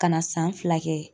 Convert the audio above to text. Ka na san fila kɛ.